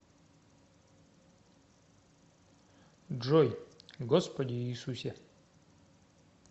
джой господи иисусе